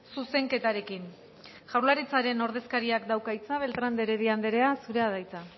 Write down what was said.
zuzenketarekin jaurlaritzaren ordezkariak dauka hitza beltrán de heredia anderea zurea da hitza